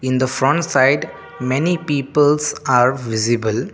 in the front side many peoples are visible.